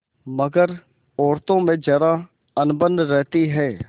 मगर औरतों में जरा अनबन रहती है